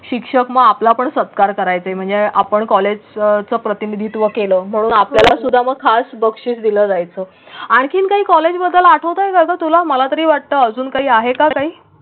शिक्षक मग आपण सत्कार करायचाच म्हणजे आपण कॉलेजचं प्रतिनिधित्व केलं म्हणून आपल्यालासुद्धा मग खास बक्षीस दिलं जायचं. आणखीन काही कॉलेजबद्दल आठवतंय का तुला? मला तरी वाटतं अजून काही आहे का काही?